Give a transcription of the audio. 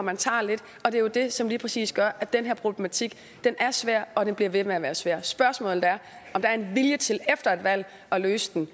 og tager lidt og det er jo det som lige præcis gør at den her problematik er svær og bliver ved med at være svær spørgsmålet er om der er en vilje til at løse den